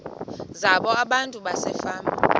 zabo abantu basefama